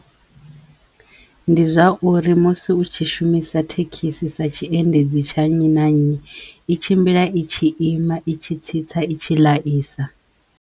Ndi zwa uri musi u tshi shumisa thekhisi sa tshiendedzi tsha nnyi na nnyi i tshimbila i tshi ima i tshi tsitsa i tshi ḽaisa.